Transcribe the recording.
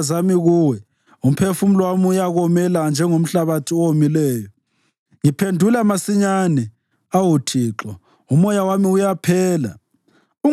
Ngiyelula izandla zami kuwe; umphefumulo wami uyakomela njengomhlabathi owomileyo.